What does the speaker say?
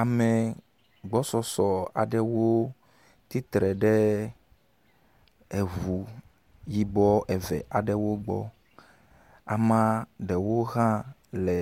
Ame gbɔsɔsɔ aɖewo tsi tre ɖe eŋu yibɔ eve aɖewo gbɔ. Amea aɖewo hã le